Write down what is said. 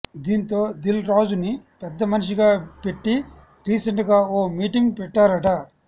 దీంతో దిల్ రాజుని పెద్దమనిషిగా పెట్టి రీసెంట్ గా ఓ మీటింగ్ పెట్టారట